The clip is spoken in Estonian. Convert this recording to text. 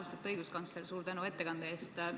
Austatud õiguskantsler, suur tänu ettekande eest!